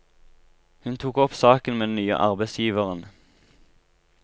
Hun tok opp saken med den nye arbeidsgiveren.